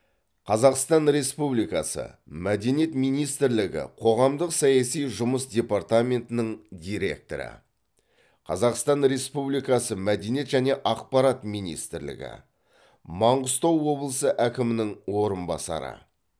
қазақстан республикасы мәдениет министрлігі қоғамдық саяси жұмыс департаментінің директоры қазақстан республикасы мәдениет және ақпарат министрлігі маңғыстау облысы әкімінің орынбасары